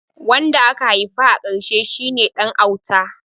Wanda aka haifa a karshe shi ne ɗan auta